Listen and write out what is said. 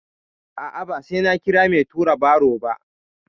A'a, ba sai na kira mai tura baro ba.